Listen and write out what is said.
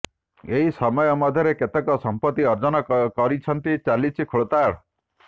ଏହି ସମୟ ମଧ୍ୟରେ କେତେ ସଂପତି ଅର୍ଜନ କରିଛନ୍ତି ଚାଲିଛି ଖୋଳତାଡ଼